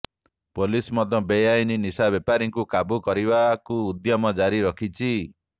police ମଧ୍ୟ ବେଆଇନ ନିଶାବେପାରୀଙ୍କୁ କାବୁ କରିବାକୁ ଉଦ୍ୟମ ଜାରି ରଖିଛି